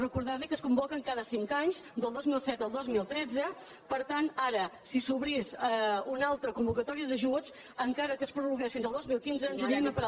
recordar li que es convoquen cada cinc anys del dos mil set al dos mil tretze per tant ara si s’obrís una altra convocatòria d’ajuts encara que es prorrogués fins al dos mil quinze ens n’aniríem a parar